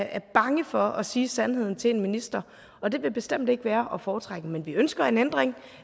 er bange for at sige sandheden til en minister og det vil bestemt ikke være at foretrække men vi ønsker en ændring